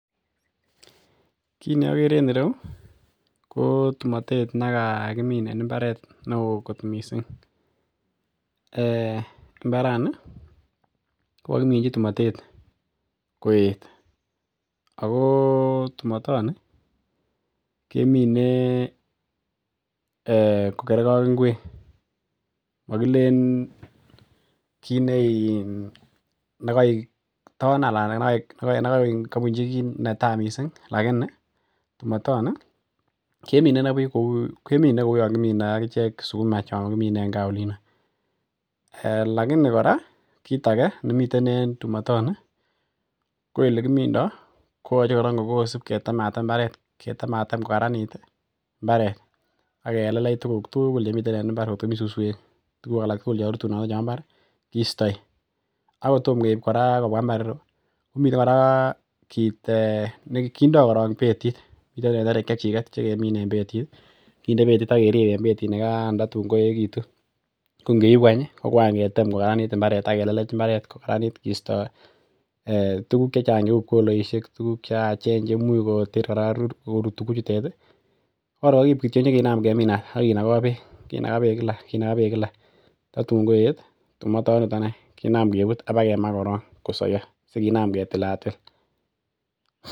Kit ne okere en ireu ko tumotet nekakimin en mbaret neoo kot missing um mbarani kokokiminji tumotet koet ako tumotoni kemine um kokerge ak ng'wek, mokilen kit nekoik ton anan nekoik kobunji netaa missing lakini tumotoni kemine inei buch kou kemine kou yon kimine ak ichek sukuma chon kimine en gaa yuno lakini kora kit age nemiten en tumotoni ko elekimindoo koyoche kora kosip ketem atem mbaret ketem atem kokaranit ih mbaret akelelech tuguk tugul chemiten en mbar koktko mii suswek tuguk tugul chemiten en mbar kostoi ak kotom kora keib kobwa mbar ireu komiten kora kit um kindoo korong betit miten tenderek chechik chekindoo betit kinde betit ak kerip en betit nikan tatun koeechekitun tatun ko ngeibu any ih ko kwan ketem kokaranit mbaret ak kelelech mbaret kokaranit kisto tuguk chechang cheu pkoloisiek tuguk cheyachen chemuch ko ter kora rurutik chutet ih ko kor kokiib kinam keminat akinogoo beek kinaga beek kila tatun koet tumotoniton any kinam kebut ak bakemaa koron kosoiyo sikinam ketilatil.